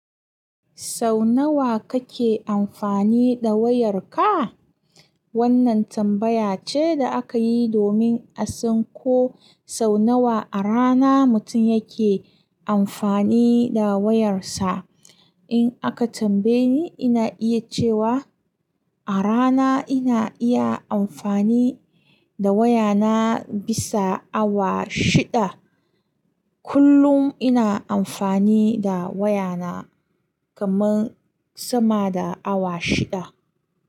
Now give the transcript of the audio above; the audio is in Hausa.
Sau nawa kake amfani da wayarka? Wannan tambaya ce da aka yi domin a san ko sau nawa a rana mutum yake amfani da wayarsa. In aka tambaye ni, ina iya cewa a rana ina iya amfani da wayana bisa awa shida. Kullum ina amfani da wayana kamar sama da awa shida.